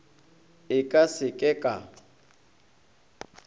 e ka se ke ka